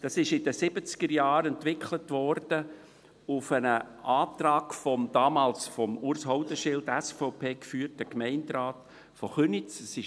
Es wurde in den Siebzigerjahren auf einen Antrag des damals von Urs Haudenschild, SVP, geführten Gemeinderates von Köniz entwickelt.